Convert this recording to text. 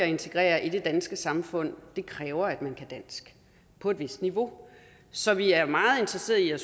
integrere i det danske samfund det kræver at man kan dansk på et vist niveau så vi er meget interesseret i at